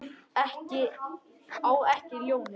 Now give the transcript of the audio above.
Á ekki ljónið.